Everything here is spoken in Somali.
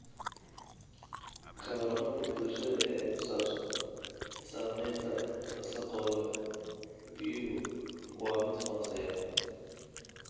Ka warqabka bulshada ee ku saabsan saamaynta wasakhowga biyuhu waa mid hooseeya.